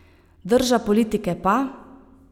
Drža politike pa ...